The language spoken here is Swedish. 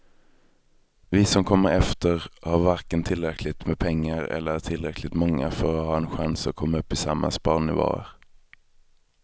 Vi som kommer efter har varken tillräckligt med pengar eller är tillräckligt många för att ha en chans att komma upp i samma sparnivåer.